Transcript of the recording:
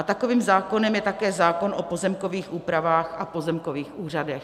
A takovým zákonem je také zákon o pozemkových úpravách a pozemkových úřadech.